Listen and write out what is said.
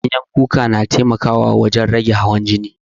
Ganyen kuka na taimaka wurin rage hawan jini